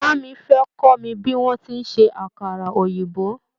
Ìyá mi fé kọ́ mi bí wọ́n ti ń ṣe àkàrà òyìnbó.